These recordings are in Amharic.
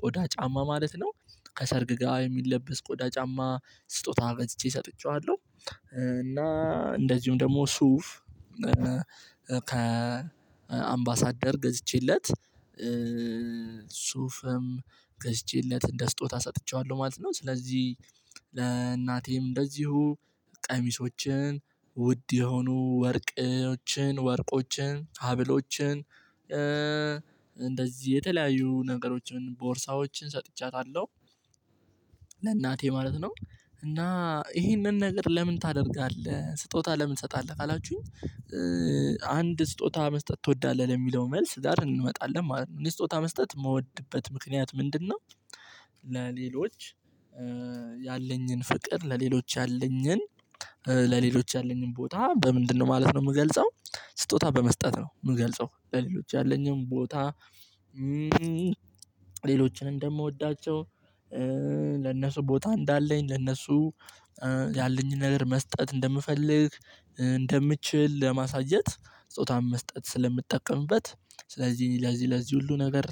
ቆዳ ጫማ ማለት ነው ከሰርግ ጋር የሚለበስ ቆዳ ጫማ ስጦታ ገዝቼ ሰጥቼዋለሁ። እና እንደዚሁም ደግሞ ሱፍ ከአምባሳደር ገዝቼለት ሱፍም ገዝቼለት እንደ ስጦታ ሰጥቼዋለሁ ማለት ነው። ስለዚህ ለእናቴም እንደዚሁ ቀሚሶችን ውድ የሆኑ ወርቆችን ወርቆችን ሀብሎችን እንደዚህ የተለያዩ ነገሮችን ቦርሳዎችን ሰጥቻታለሁ። ለእናቴ ማለት ነው። እና ይሄንን ነገር ለምን ታደርጋለህ ስጦታ ለምን ትሰጣለህ ካላችሁኝ። አንድ ስጦታ መስጠት ትወዳለህ ለሚለው መልስ ጋር እንመጣለን ማለት ነው። እኔ ስጦታ መስጠት የምወድበት ምክንያት ምንድነው? ለሌሎች ያለኝን ፍቅር ለሌሎች ያለኝን ለሌሎች ያለኝን ቦታ በምንድነው ማለት ነው። የምገልጸው ስጦታ በመስጠት ነው የምገልጸው ለሌሎች ያለኝም ቦታ። ሌሎችን እንደምወዳቸው ለነሱ ቦታ እንዳለኝ ለነሱ ያለኝን ነገር መስጠት እንደምፈልግ እንደምችል ለማሳየት ስጦታን መስጠት ስለምትጠቀምበት ስለዚህ ለዚህ ለዚህ ሁሉ ነገር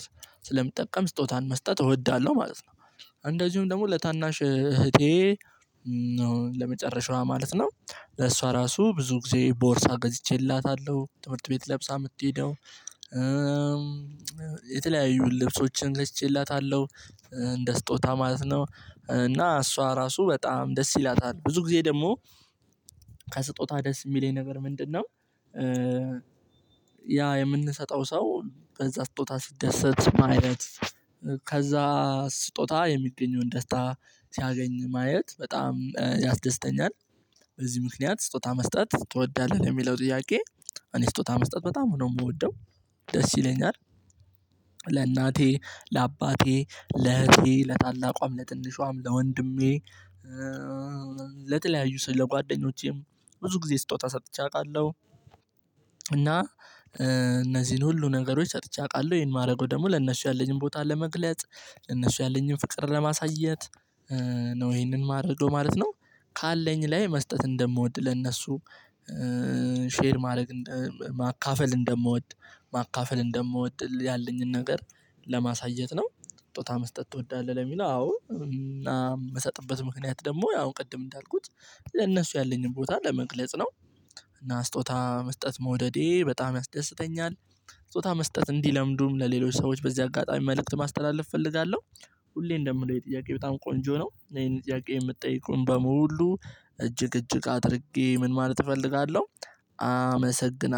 ስለምጠቀም ስጦታን መስጠት እወዳለሁ ማለት ነው። እንደዚሁም ደግሞ ለታናሽ እህቴ ነው ለመጨረሻዋ ማለት ነው። ለእሷ ራሱ ብዙ ጊዜ ቦርሳ ገዝቼላታለሁ ትምህርት ቤት ለብሳ የምትሄደው የተለያዩ ልብሶችን ገዝቼላታለሁ። እንደ ስጦታ ማለት ነው እና እሷ ራሱ በጣም ደስ ይላታል ብዙ ጊዜ ደግሞ ከስጦታ ደስ የሚለኝ ነገር ምንድነው? ያ የምንሰጠው ሰው በዛ ስጦታ ሲደሰት ማየት ከዛ ስጦታ የሚገኘውን ደስታ ሲያገኝ ማየት በጣም ያስደስተኛል። በዚህ ምክንያት ስጦታ መስጠት ትወዳለህ ለሚለው ጥያቄ። እኔ ስጦታ መስጠት በጣም ነው የምወደው። ደስ ይለኛል። ለእናቴ ለአባቴ ለእህቴ ለታላቋም ለትንሿም ለወንድሜ ለተለያዩ ስለ ጓደኞቼም ብዙ ጊዜ ስጦታ ሰጥቼ አውቃለሁ። እና እነዚህን ሁሉ ነገሮች ሰጥቼ አውቃለሁ ይሄን ማደርገው ደግሞ ለእነሱ ያለኝን ቦታ ለመግለጽ ለእነሱ ያለኝን ፍቅር ለማሳየት ነው ይሄንን ማረገው ማለት ነው። ካለኝ ላይ መስጠት እንደምወድ ለነሱ ሼር ማድረግ ማካፈል እንደምወድ ማካፈል እንደምወድ ያለኝን ነገር ለማሳየት ነው። ስጦታ መስጠት ትወዳለህ? ለሚለው አዎ እና ምሰጥበት ምክንያት ደግሞ ያው ቅድም እንዳልኩት ለእነሱ ያለኝን ቦታ ለመግለጽ ነው። እና ስጦታ መስጠት መውደዴ በጣም ያስደስተኛል። ጾታ መስጠት እንዲለምዱም ለሌሎች ሰዎች በዚህ አጋጣሚ መልእክት ማስተላለፍ እፈልጋለሁ። ሁሌም እንደምለው የጥያቄ በጣም ቆንጆ ነው ይሄን ጥያቄ የምትጠይቀው በሙሉ እጅግ እጅግ አድርጌ ምን ማለት እፈልጋለሁ። አመሰግናለሁ